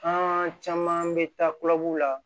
An caman bɛ taa kulyu la